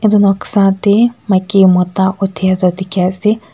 edu noksa te maiki mota uthai du dikhi asey.